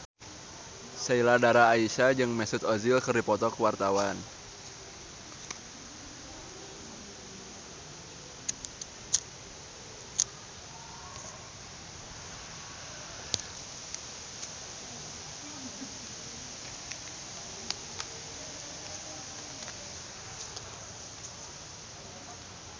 Sheila Dara Aisha jeung Mesut Ozil keur dipoto ku wartawan